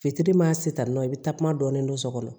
Fitiri ma se san nɔ i bɛ takuma dɔɔni don so kɔnɔ